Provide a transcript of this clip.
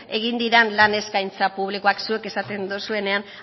egin diren lan eskaintza publikoak zuek esaten dozuenean